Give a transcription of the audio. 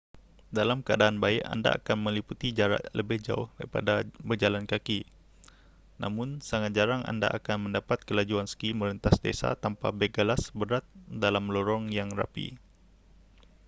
dalam keadan baik anda akan meliputi jarak lebih jauh daripada berjalan kaki namun sangat jarang anda akan mendapat kelajuan ski merentas desa tanpa beg galas berat dalam lorong yang rapi